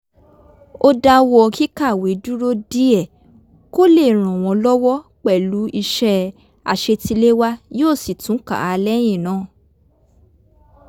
ó dáwọ́ kíkàwé dúró díẹ̀ kó lè ràn wọ́n lọ́wọ́ pẹ̀lú iṣẹ́ àṣetiléwá yóò sì tún kà á lẹ́yìn náà